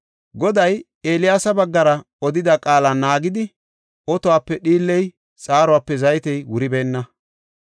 Goday Eeliyaasa baggara odida qaala naagidi, otuwape dhiilley xaaruwape zaytey wuribeenna.